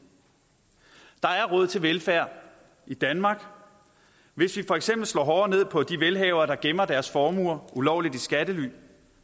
der er råd til velfærd i danmark hvis vi for eksempel slår hårdere ned på de velhavere der gemmer deres formue ulovligt i skattely